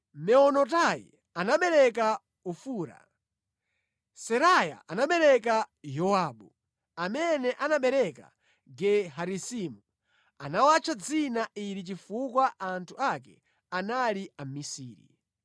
Meonotai anabereka Ofura. Seraya anabereka Yowabu, amene anabereka Ge-Harasimu. Anawatcha dzina ili chifukwa anthu ake anali amisiri.